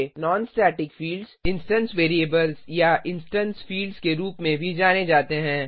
non static fields instance variables या instance fields के रूप में भी जाने जाते हैं